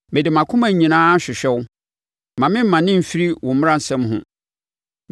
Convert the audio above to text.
Mede mʼakoma nyinaa hwehwɛ wo; mma me mmane mfiri wo mmaransɛm ho.